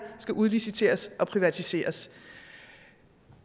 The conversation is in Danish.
skal udliciteres og privatiseres